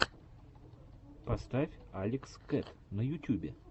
поставь алекс кэт на ютюбе